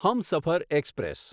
Humsafar express